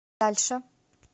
дальше